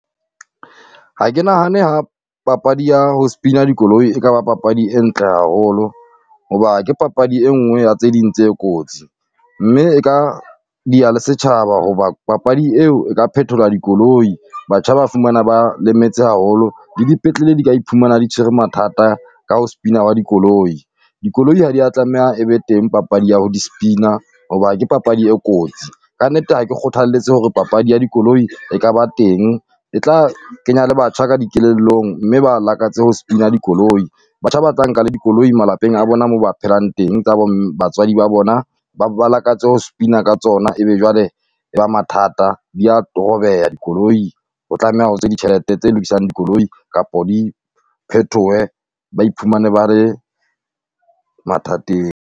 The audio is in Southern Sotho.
Ha ke nahane ha papadi ya ho spin-a dikoloi e ka ba papadi e ntle haholo, hoba ke papadi engwe ya tse ding tse kotsi. Mme e ka diha le setjhaba, hoba papadi eo e ka phethola dikoloi, batjha ba fumana ba lemetse haholo le dipetlele di ka iphumana di tshwere mathata ka ho spin-a ha dikoloi. Dikoloi ha di ya tlameha e be teng papadi ya ho di spin-a, hoba ke papadi e kotsi ka nnete ha ke kgothalletse hore papadi ya di koloi e ka ba teng. E tla kenya le batjha ka dikelellong mme ba lakatse ho spin-a dikoloi, batjha ba tla nka le dikoloi malapeng a bona moo ba phelang teng tsa bo batswadi ba bona ba bo ba lakatse ho spin-a ka tsona. Ebe jwale e ba mathata di ya a dikoloi, o tlameha ho tswe ditjhelete tse lokisang dikoloi, kapo di phethohe ba iphumane ba re mathateng.